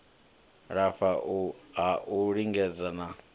lafha ha u lingedza na